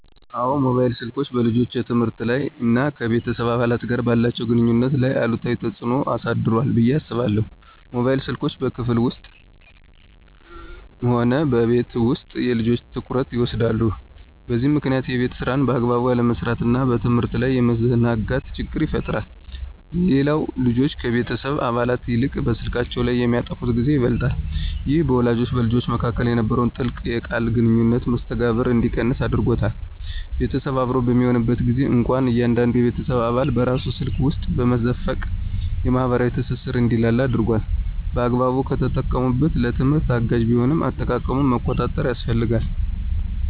አዎን፣ ሞባይል ስልኮች በልጆች የትምህርት ላይ እና ከቤተሰብ አባላት ጋር ባላቸው ግንኙነት ላይ አሉታዊ ተጽዕኖ አሳድሯል ብዬ አስባለሁ። ሞባይል ስልኮች በክፍል ውስጥም ሆነ በቤት ውስጥ የልጆችን ትኩረት ይወስዳሉ፤ በዚህም ምክንያት የቤት ሥራን በአግባቡ ያለመስራትና በትምህርት ላይ የመዘናጋት ችግር ይፈጠራል። ሌላው ልጆች ከቤተሰብ አባላት ይልቅ በስልካቸው ላይ የሚያጠፉት ጊዜ ይበልጣል። ይህ በወላጆችና በልጆች መካከል የነበረውን ጥልቅ የቃል ግንኙነትና መስተጋብር እንዲቀንስ አድርጓል። ቤተሰብ አብሮ በሚሆንበት ጊዜም እንኳ እያንዳንዱ የቤተሰብ አባል በራሱ ስልክ ውስጥ መዘፈቁ የማኅበራዊ ትስስር እንዲላላ አድርጓል። በአግባቡ ከተጠቀሙበት ለትምህርት አጋዥ ቢሆንም፣ አጠቃቀሙን መቆጣጠር ያስፈልጋል።